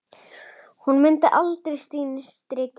Hún muni halda sínu striki.